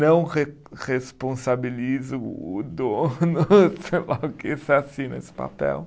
Não re responsabilizo o dono, sei lá o que, você assina esse papel.